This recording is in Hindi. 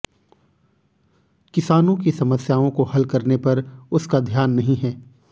किसानों की समस्याओं को हल करने पर उसका ध्यान नहीं है